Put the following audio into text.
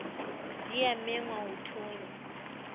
di a mengwa ho thonya